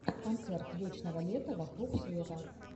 концерт вечного лета вокруг света